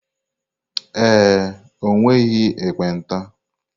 Ee e, o nweghị ekpenta.